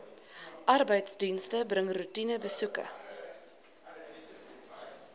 arbeidsdienste bring roetinebesoeke